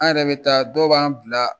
An yɛrɛ bɛ taa dɔw b'an bila